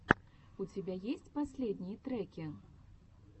у тебя есть последние треки